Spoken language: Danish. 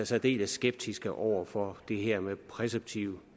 særdeles skeptiske over for det her med præceptiv